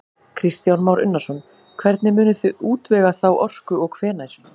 Kristján Már Unnarsson: Hvernig munið þið útvega þá orku og hvenær?